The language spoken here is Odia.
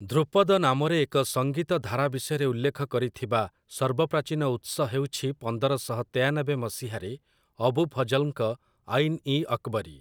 ଧ୍ରୁପଦ ନାମରେ ଏକ ସଂଗୀତ ଧାରା ବିଷୟରେ ଉଲ୍ଲେଖ କରିଥିବା ସର୍ବପ୍ରାଚୀନ ଉତ୍ସ ହେଉଛି ପନ୍ଦରଶହ ତେୟାନବେ ମସିହାରେ ଅବୁ ଫଜଲ୍‌ଙ୍କ 'ଆଇନ୍ ଇ ଅକ୍‌ବରୀ' ।